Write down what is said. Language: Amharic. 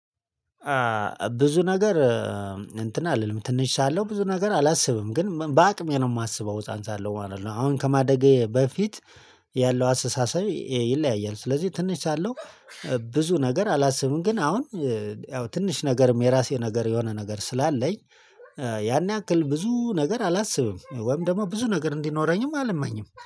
ብዙ ነገር እንትን አልልም ትንሽ ሳለሁ ብዙ ነገር አላስብም ግን በአቅሜ ነው የማስበው ህፃን ሳለው ማለት ነው። አሁን ከማደጌ በፊት ያለው አስተሰቤ ይለያያል። ስለዚህ ትንሽ ሳለው ብዙ ነገር አላስብም። ግን አሁን ያው ትንሽ ነገርም የራሴ ነገር የሆነ ነገር ስላለኝ ያን ያክል ብዙ ነገር አላስብም። ወይም ደግሞ ብዙ ነገር እንዲኖረኝም አላማኝም